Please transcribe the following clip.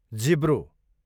जिब्रो